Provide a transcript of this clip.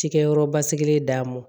Cikɛyɔrɔ basigilen d'a ma